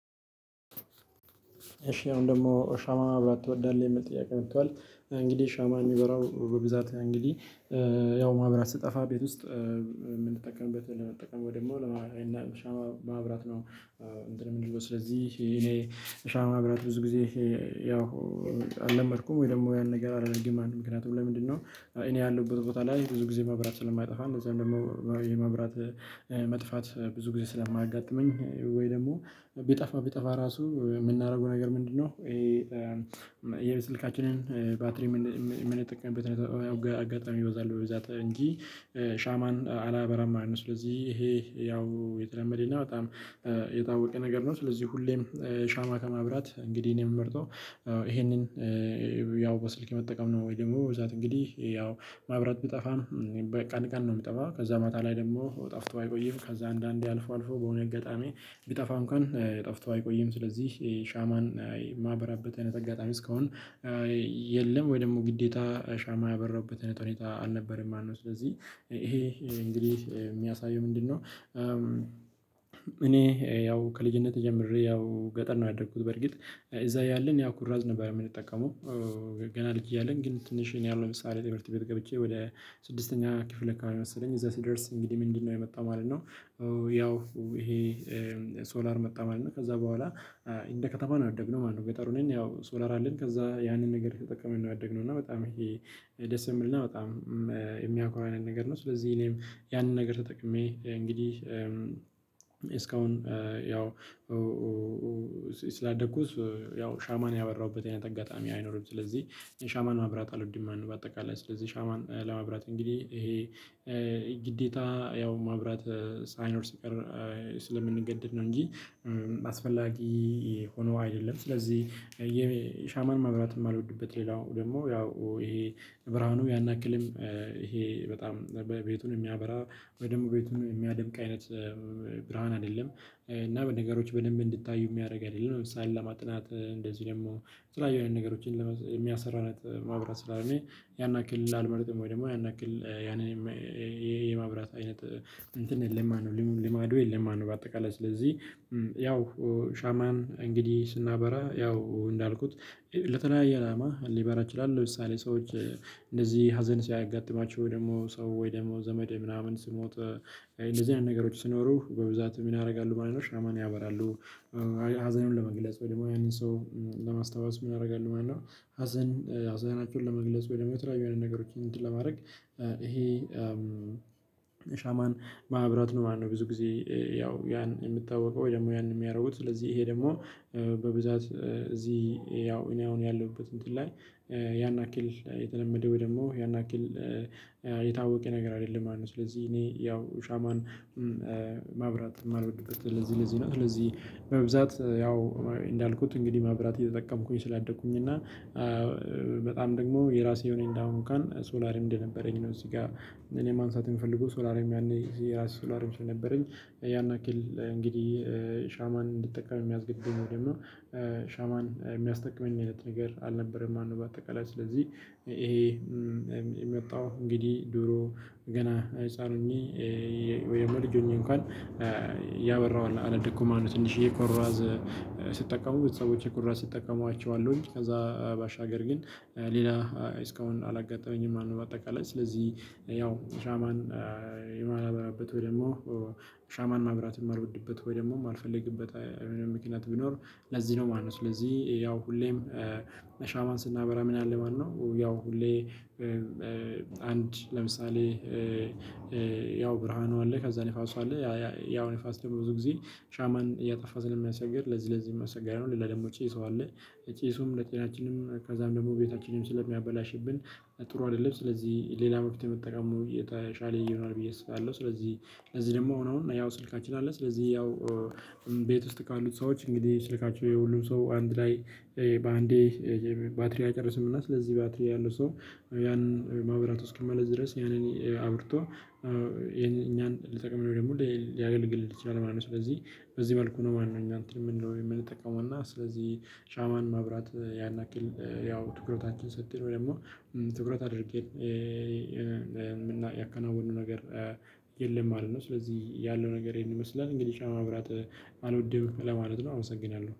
እሺ አሁን ደግሞ ሻማ ማብራት ትወዳለህ? የሚል ጥያቄ መቷል እንግዲህ ሻማ የሚበራው በብዛት እንግዲህ ያው ማህበራት ሲጠፋ ቤት ውስጥ የምንጠቀምበትን ለመጠቀም ወይ ድግሞ ለማ ሻማ ማብራት ነው። እንትን የምንልበው ስለዚህ እኔ ሻማ ማብራት ብዙ ጊዜ ያው አልለመድኩም። ወይ ደግሞ ያን ነገር አላደርግምማ ለት ነው። ምክንያቱ ለምንድነው እኔ ያለሁበት ቦታ ላይ ብዙ ጊዜ መብራት ስለማይጠፋ እነዛ ደግሞ የመብራት መጥፋት ብዙ ጊዜ ስለማጋጠመኝ ወይ ደግሞ ቢጠፋ ቢጠፋ ራሱ የምናደርገው ነገር ምንድነው። ይሄ የስልካችንን ባትሪ ምን የምጠቀምበት አጋጣሚ ይበዛል ወይ ብዛት እንጂ ሻማን አላበራማንም ስለዚህ ይሄ ያው የተለመደና በጣም የታወቀ ነገር ነው። ስለዚህ ሁሌም ሻማ ከማብራት እንግዲህ እኔ የምመርጠው ይሄንን ያው በስልክ መጠቀም ነው። ወይ ደግሞ ብዛት እንግዲህ ያው ማብራት ብጠፋም ቀን ቀን ነው የምጠፋው። ከዛ ማታ ላይ ደግሞ ጠፍቶ አይቆይም። ከዛ አንዳንዴ አልፎ አልፎ በሆነ አጋጣሚ ቢጠፋ እንኳን ጠፍቶ አይቆይም። ስለዚህ የሻማን የማበራበትን አጋጣሚ እስካሁን የለም። ወይ ደግሞ ግዴታ ሻማ ያበራሁበት ሁኔታ አልነበረም። ማለት ነው። ስለዚህ ይሄ እንግዲህ የሚያሳየው ምንድነው እኔ ያው ከልጅነቴ ጀምሬ ያው ገጠር ነው ያደረኩት በርግጥ እዛ ያለን ያኩራዝ ነበር የምንጠቀመው ገና ልጅ እያለን ግን ትንሽ ያለው ምሳሌ ትምህርት ቤት ገብቼ ወደ ስድስተኛ ክፍል ካለ መሰለኝ እዛ ሲደርስ እንግዲህ ምንድነው የመጣው ማለት ነው። ያው ይሄ ሶላር መጣ ማለት ነው። ከዛ በኋላ እንደ ከተማ ያደግነው ማለት ነው። ገጠሩን ያው ሶላር አለን። ከዛ ያንን ነገር ተጠቅመን ነው ያደግነው። እና በጣም ይሄ ደስ የምልና በጣም የሚያኮራ አይነት ነገር ነው። ስለዚህ እኔም ያንን ነገር ተጠቅሜ እንግዲህ እስካሁን ያው ስላደኩት ያው ሻማን ያበራሁበትን ጠጋጣሚ አይኖርም። ስለዚህ ሻማን ማብራት አልወድም። በአጠቃላይ ስለዚህ ሻማን ለማብራት እንግዲህ ይሄ ግዴታ ያው ማብራት ሳይኖር ሲቀር ስለምንገደድ ነው እንጂ አስፈላጊ ሆኖ አይደለም። ስለዚህ ሻማን ማብራት የማልወድበት ሌላው ደግሞ ያው ይሄ ብርሃኑ ያናክልም ይሄ በጣም ቤቱን የሚያበራ ወይ ደግሞ ቤቱን የሚያደምቅ አይነት ብርሃን አይደለም። እና በነገሮች በደንብ እንድታዩ የሚያደርግ አይደለም። ለምሳሌ ለማጥናት እንደዚህ ደግሞ የተለያየ የሆነ ነገሮችን የሚያሰራና ማብራት ስላልሆነው ያን ያክል አልመረጥም ወይ ደግሞ ያን ያክል ያንን የማብራት አይነት እንትን ልማዱ የለም ነው። በአጠቃላይ ስለዚህ ያው ሻማን እንግዲህ ስናበራ ያው እንዳልኩት ለተለያየ አላማ ሊበራ ይችላል። ለምሳሌ ሰዎች እንደዚህ ሀዘን ሲያጋጥማቸው ወይ ደግሞ ሰው ወይ ደግሞ ዘመድ ምናምን ስሞት እንደዚህ አይነት ነገሮች ሲኖሩ በብዛት ምን ያደርጋሉ። ማለት ነው ሻማን ያበራሉ ሀዘኑን ለመግለጽ ወይ ደግሞ ያንን ሰው ለማስታወስ ምን ያደርጋሉ ማለት ነው። ሀዘን ሀዘናቸውን ለመግለጽ ወይ ደግሞ የተለያዩ የሆነ ነገሮችን እንትን ለማድረግ ይሄ ሻማን ማብራት ነው። ማነው ብዙ ጊዜ ያው ያን የምታወቀው ወይ ደግሞ ያን የሚያደርጉት ስለዚህ ይሄ ደግሞ በብዛት እዚህ ያው እኔ አሁን ያለሁበት እንትን ላይ ያን አክል የተለመደው ደግሞ ያን አክል የታወቀ ነገር አይደለም። ማለት ነው። ስለዚህ እኔ ያው ሻማን ማብራት የማልወድበት ለዚህ ለዚህ ነው ስለዚህ በብዛት ያው እንዳልኩት እንግዲህ ማብራት እየተጠቀምኩኝ ስላደኩኝ እና በጣም ደግሞ የራሴ የሆነ አሁን ካን ሶላርም እንደነበረኝ ነው። እዚህ ጋር እኔ ማንሳት የምፈልገው ሶላርም ያኔ የራስ ሶላርም ስለነበረኝ ያን አክል እንግዲህ ሻማን እንድጠቀም የሚያስገድደኝ ወይም ደግሞ ሻማን የሚያስጠቅመኝ አይነት ነገር አልነበረም ማነው በአጠቃላይ ስለዚህ ይሄ የመጣው እንግዲህ ድሮ ገና ህፃን ሆኜ ወይም ልጅ ሆኜ እንኳን ያበራዋል አላደኩም ማነው ትንሽዬ ኮራዝ ስትጠቀሙ ቤተሰቦቼ ኩራዝ ሲጠቀሙ አያችዋለሁኝ ከዛ ባሻገር ግን ሌላ እስካሁን አላጋጠመኝም። ማነው በአጠቃላይ ስለዚህ ያው ሻማን የማላበራበት ወይ ደግሞ ሻማን ማብራት የሚልወድበት ወይ ደግሞ የማልፈልግበት ምክንያት ቢኖር ለዚህ ነው ማለት ነው ስለዚህ ያው ሁሌም ለሻማን ስናበራ ምን አለ ማነው ያው ሁሌ አንድ ለምሳሌ ያው ብርሃኑ አለ ከዛ ንፋሱ አለ። ያው ንፋስ ተብሎ ብዙ ጊዜ ሻማን እያጠፋ ስለሚያሰግር ለዚህ ለዚህ የማሰጋው ነው ለደግሞ ጭሱ አለ ጭሱም ለጤናችንም ከዛም ደግሞ ቤታችንም ስለሚያበላሽብን ጥሩ አይደለም። ስለዚህ ሌላ መፍትሄ መጠቀሙ የተሻለ ይሆልል ብዬ አስባለሁ። ስለዚህ እዚህ ደግሞ ሆኖ ያው ስልካችን አለ። ስለዚህ ያው ቤት ካሉት ሰዎች እንግዲህ ስልካቸው የሁሉም ሰው አንድ ላይ በአንዴ ባትሪ አይጨርስምና ስለዚህ ባትሪ ያለው ሰው ያንን ማብራት የማለት ድረስ ያንን አብርቶ የኛን ልጠቅም ነው። ደግሞ ሊያገልግልህ ይችላል ማለት ነው ስለዚህ በዚህ መልኩ ነው ማለት ነው። እኛ እንትን ምን ነው የምንጠቀመው ን እና ስለዚህ ሻማን ማብራት ያን ያክል ያው ትኩረታችን ሰጥተነው ደግሞ ትኩረት አድርጌ የምናየው ያከናወኑ ነገር የለም። ማለት ነው። ስለዚህ ያለው ነገር ይሄን ይመስላል። እንግዲህ ሻማ ማብራት አልወደውም። ለማለት ነው አመሰግናለሁ።